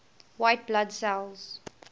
white blood cells